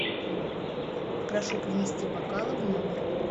прошу принести бокалы в номер